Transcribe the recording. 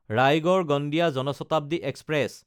ৰায়গড়–গণ্ডীয়া Jan Shatabdi express